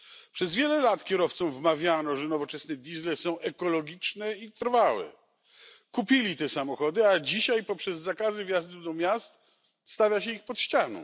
Przez wiele lat kierowcom wmawiano, że nowoczesne diesle są ekologiczne i trwałe. Kupili te samochody, a dzisiaj poprzez zakazy wjazdu do miast stawia się ich pod ścianą.